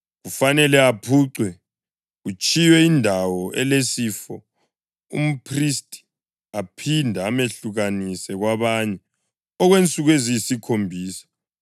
kufanele aphucwe kutshiywe indawo elesifo, umphristi aphinde amehlukanise kwabanye okwensuku eziyisikhombisa.